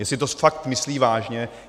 Jestli to fakt myslí vážně.